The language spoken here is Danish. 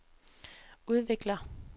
udvikler